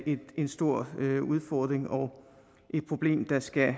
en stor udfordring og et problem der skal